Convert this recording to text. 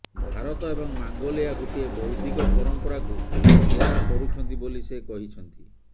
ଭାରତ ଏବଂ ମଙ୍ଗୋଲିଆ ଗୋଟିଏ ବୌଦ୍ଧିକ ପରମ୍ପରାକୁ ସେୟାର କରୁଛନ୍ତି ବୋଲି ସେ କହିଛନ୍ତି